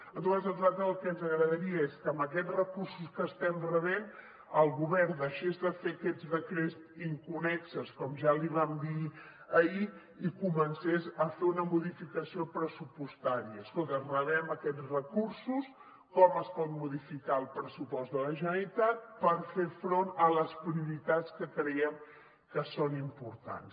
en tot cas a nosaltres el que ens agradaria és que amb aquests recursos que estem rebent el govern deixés de fer aquests decrets inconnexos com ja li vam dir ahir i comencés a fer una modificació pressupostària escolta rebem aquests recursos com es pot modificar el pressupost de la generalitat per fer front a les prioritats que creiem que són importants